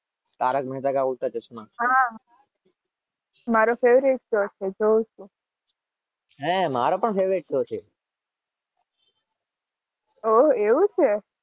Tarak Mehta Ka Ooltah Chashmah